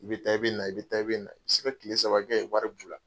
I bɛ taa i bɛ na, i bɛ taa i bɛ na, se ka tile saba kɛ yen wari b'u la.